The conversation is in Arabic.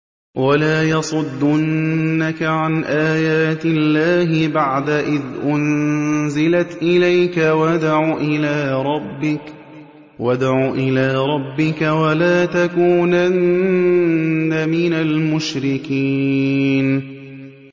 وَلَا يَصُدُّنَّكَ عَنْ آيَاتِ اللَّهِ بَعْدَ إِذْ أُنزِلَتْ إِلَيْكَ ۖ وَادْعُ إِلَىٰ رَبِّكَ ۖ وَلَا تَكُونَنَّ مِنَ الْمُشْرِكِينَ